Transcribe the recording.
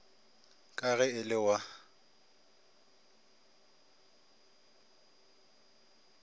ka ge e le wa